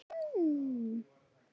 Ranka, lækkaðu í hátalaranum.